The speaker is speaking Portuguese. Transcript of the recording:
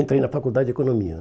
Entrei na faculdade de economia.